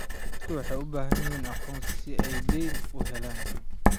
Dadku waxay u baahan yihiin aqoonsi si ay dayn u helaan.